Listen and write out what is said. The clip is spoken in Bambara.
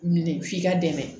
Minɛ f'i ka dɛmɛ